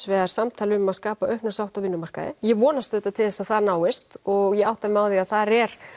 vegar samtal um að skapa aukna sátt á vinnumarkaði ég vonast auðvitað til þess að það náist og ég átta mig á að þar er